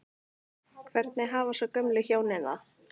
Hvernig hafa svo gömlu hjónin það?